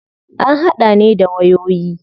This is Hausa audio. An hada ne da wayoyi.